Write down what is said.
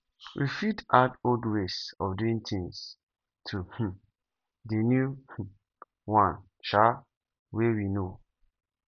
we fit add old ways of doing things to um the new um one um wey we know